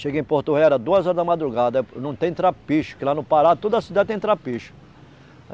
Cheguei em Porto Velho, era duas horas da madrugada, não tem trapiche, porque lá no Pará toda a cidade tem trapiche.